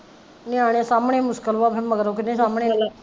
ਨਿਆਣੇ ਸਾਂਬਣੇ ਮੁਸਕਿਲ ਵਾ ਫੇਰ ਮਗਰੋਂ ਕਿਹਨੇ ਸਾਂਬਣੇ